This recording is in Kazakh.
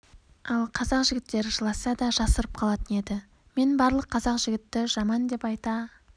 ал қазақ жігіттері жыласа да жасырып қалатын еді мен барлық қазақ жігіті жаман деп айта